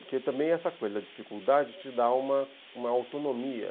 Porque também essa coisa da dificuldade te dá uma uma autonomia.